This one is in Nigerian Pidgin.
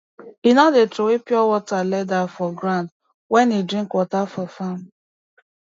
he no dey trowey pure water leather for ground wen he drink water for farm